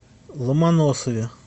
ломоносове